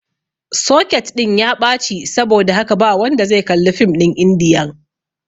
soket ɗin ya ɓaci saboda haka ba wanda zai kalli fim ɗin indiyan